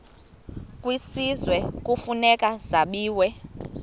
kwisizwe kufuneka zabiwe